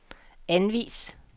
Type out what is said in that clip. anvis